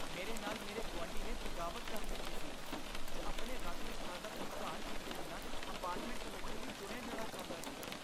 ਮੇਰੇ ਨਾਲ ਮੇਰੇ ਗੁਆਂਢੀ ਨੇ ਬਗਾਵਤ ਕਰ ਦਿੱਤੀ ਸੀ, ਜੋ ਆਪਣੇ ਰੱਖ ਰਖਾਅ ਦਾ ਭੁਗਤਾਨ ਕੀਤੇ ਬਿਨਾਂ ਅਪਾਰਟਮੈਂਟ ਕਮੇਟੀ ਲਈ ਚੁਣਿਆ ਜਾਣਾ ਚਾਹੁੰਦਾ ਸੀ